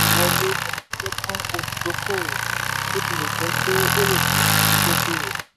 wọlé ni a pín fún olùdókòwò bó tilẹ̀ jẹ́ pé ó lè padà fi dókòwò.